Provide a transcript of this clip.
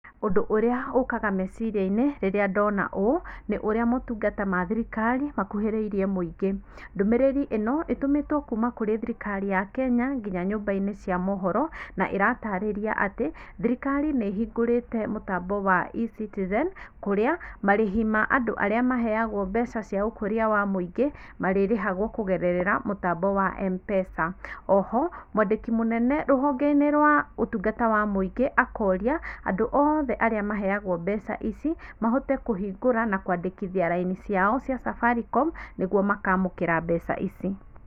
Ũndũ ũrĩa ũkaga meciriainĩ rĩrĩa ndona ũũ nĩ ũrĩa motungata wa thirikari makũhĩrĩirie mũingĩ, ndũmĩrĩri ĩno ĩtũmĩtwo kũrĩ thirikari ya Kenya nginya nyũmbainĩ na ĩratarĩria atĩ thirikari nĩhingũrĩte mũtambo wa Ecitizen kũrĩa marĩhi marĩa andũ arĩa maheagwo mbeca cia ũkũria wa mũingĩ marĩrĩhagwo kũgererera mũtambo wa Mpesa oho mwandĩki mũnene rũhongeinĩ rwa ũtungata wa mũingĩ akoria andũ othe arĩa maheagwo mbeca ici mahote kũhingũra na kwandĩkithia raini ciao cia Safaricom nĩguo makamũkĩra mbeca ici.